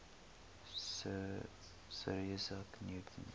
sir isaac newton